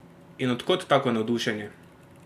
In od kod tako navdušenje?